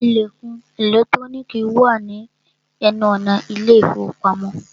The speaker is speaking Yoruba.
Ìlẹ̀kùn ẹ̀lẹ́trónìkì wà ní ẹnu ọ̀nà ilé ìfọwọ́pamo.